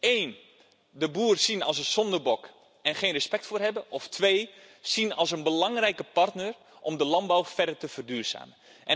Eén, de boer zien als een zondebok en geen respect voor hem hebben of twee, hem zien als een belangrijke partner om de landbouw verder te verduurzamen.